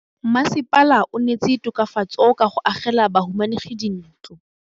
Mmasepala o neetse tokafatsô ka go agela bahumanegi dintlo.